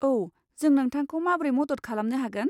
औ, जों नोंथांखौ माब्रै मदद खालामनो हागोन?